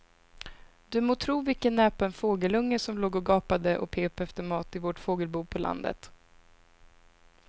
Du må tro vilken näpen fågelunge som låg och gapade och pep efter mat i vårt fågelbo på landet.